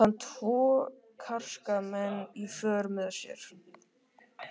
Hafði hann tvo karska menn í för með sér.